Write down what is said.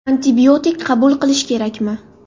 Antibiotik qabul qilish kerakmi?